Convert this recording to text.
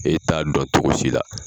E t'a dɔn cogo si la.